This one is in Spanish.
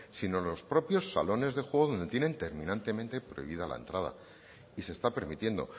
sino en los propios salones de juego donde tienen terminantemente prohibida la entrada y se está permitiendo